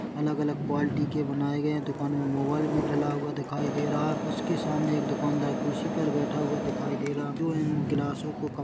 अलग-अलग क्वालिटी के बनाए गए हैं दुकान में मोबाइल भी डला हुआ दिखाई दे रहा उसके सामने एक दुकानदार कुर्सी पर बैठा हुआ दिखाई दे रहा जो इन ग्लासों को--